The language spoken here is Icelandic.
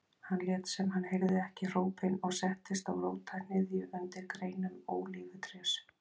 Hann lét sem hann heyrði ekki hrópin og settist á rótarhnyðju undir greinum ólífutrés.